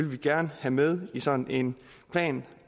vi gerne have med i sådan en plan